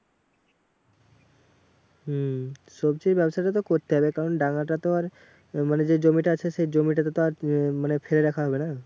হম সবজির ব্যাবসাটা তো করতে হবে কারণ টাকা তো আর মানে যে জমিটা আছে সেই জমিটাতে আর মানে ফেলে রাখা যাবে না।